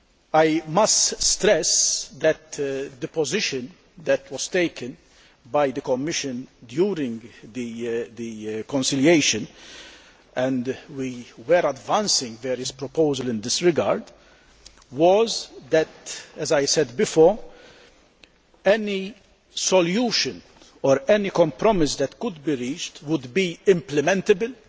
I must stress that the position taken by the Commission during the conciliation and we were advancing various proposals in this regard was that, as I said before, any solution or any compromise that could be reached had to be implementable.